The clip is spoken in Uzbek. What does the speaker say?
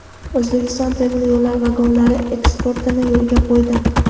O‘zbekiston temir yo‘l vagonlari eksportini yo‘lga qo‘ydi.